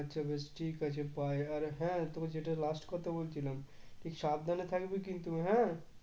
আচ্ছা বেশ ঠিক আছে bye আর হ্যাঁ তোকে যেটা last কথা বলছিলাম তুই সাবধানে থাকবি কিন্তু হ্যাঁ?